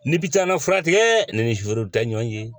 Ni bi taa na furakɛ tigɛ ne ni tɛ ɲɔgɔn ye